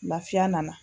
Lafiya nana